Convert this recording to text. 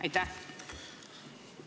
Aitäh!